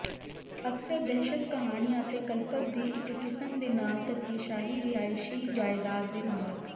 ਅਕਸਰ ਦਹਿਸ਼ਤ ਕਹਾਣੀਆ ਅਤੇ ਕਲਪਤ ਦੀ ਇੱਕ ਕਿਸਮ ਦੇ ਨਾਲ ਧੱਕੇਸ਼ਾਹੀ ਰਿਹਾਇਸ਼ੀ ਜਾਇਦਾਦ ਦੇ ਮਾਲਕ